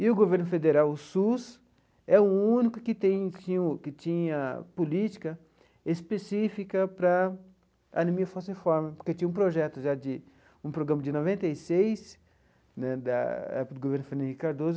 E o governo federal, o SUS, é o único que tem tinha o que tinha política específica para anemia falciforme, porque tinha um projeto já de, um programa de noventa e seis né, da época do governo do Fernando Henrique Cardoso,